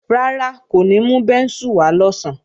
Rárá, kò ní mú bẹ́ńsù wá lọ̀sán